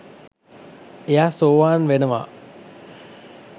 එයා සෝවාන් වෙනවා